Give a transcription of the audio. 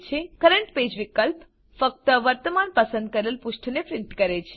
current page વિકલ્પ ફક્ત વર્તમાન પસંદ કરેલ પુષ્ઠને પ્રીંટ કરે છે